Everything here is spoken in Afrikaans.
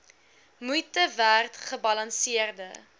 moeite werd gebalanseerde